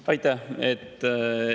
Aitäh!